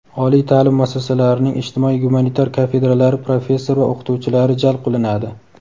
oliy ta’lim muassasalarining ijtimoiy gumanitar kafedralari professor va o‘qituvchilari jalb qilinadi.